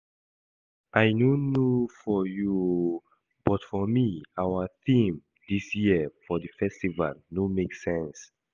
I no know for you oo but for me our theme dis year for the festival no make sense